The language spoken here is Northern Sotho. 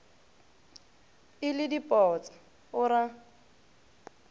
e le dipotsa o ra